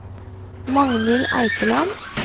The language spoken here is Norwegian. Magnhild Eikeland